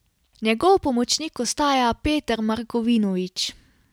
Njegov pomočnik ostaja Peter Markovinovič.